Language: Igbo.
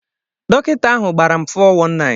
Dọkịta ahụ gbara m 419.